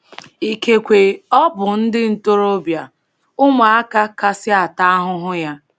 Ikekwe, ọ bụ ndị ntorobịa — ụmụaka — kasị ata ahụhụ ya.